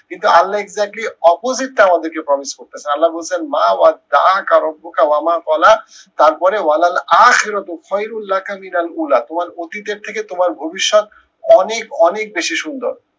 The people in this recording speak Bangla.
কিন্তু আল্লা exactly opposite টা আমাদেরকে promise করতেসে আল্লা বলসে, মা তারপরে তোমার অতীতের থেকে তোমার ভবিষ্যত, অনেক অনেক বেশি সুন্দর।